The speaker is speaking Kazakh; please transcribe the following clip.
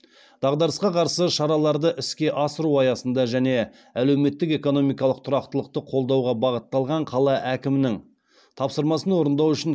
дағдарысқа қарсы шараларды іске асыру аясында және әлеуметтік экономикалық тұрақтылықты қолдауға бағытталған қала әкімінің тапсырмасын орындау үшін